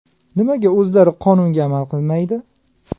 Nimaga o‘zlari qonunga amal qilmaydi?